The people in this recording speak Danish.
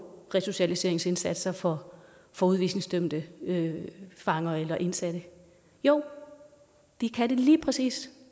resocialiseringsindsatser for for udvisningsdømte fanger eller indsatte jo det kan det lige præcis